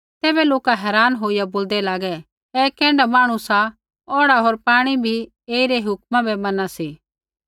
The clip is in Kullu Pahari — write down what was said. तैबै लोका हैरान होईया बोलदै लागै ऐ कैण्ढा मांहणु सा औढ़ा होर पाणी भी ऐईरी हुक्मा बै मना सी